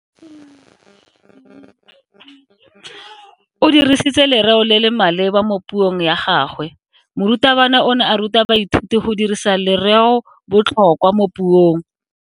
O dirisitse lereo le le maleba mo puong ya gagwe. Morutabana o ne a ruta baithuti go dirisa lereobotlhokwa mo puong.